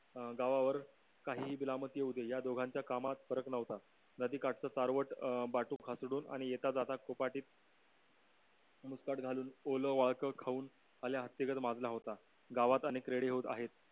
अं गावावर काहीही कलामत येऊ दे या दोघांच्या कामात फरक नव्हता नदीकाठचा सरवाट अं बटुक खासडून आता कोपटित मुस्काट घालून ओला वळक खाऊन हाल्या हत्तीगत माजला होता गावात अनेक रेडे होता